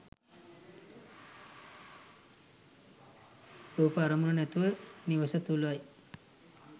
රූප අරමුණ නැමැති නිවස තුළයි.